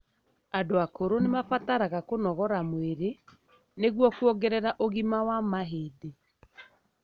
Andũ akũru nĩmabataraga kũnogora mwĩri nĩgũo kũongerera ũgima wa mahĩndĩ.